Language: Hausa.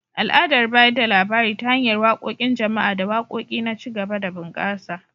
Al’adar bayar da labari ta hanyar waƙoƙin jama’a da waƙoƙi na ci gaba da bunƙasa.